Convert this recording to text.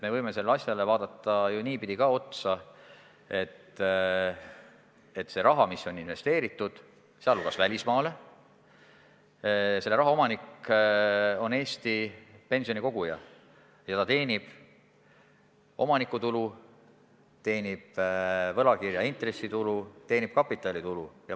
Me võime sellele asjale vaadata ju ka niipidi otsa, et selle raha, mis on investeeritud – sh välismaale –, omanik on Eesti pensionikoguja ja ta teenib omanikutulu, teenib võlakirja intressitulu, teenib kapitalitulu.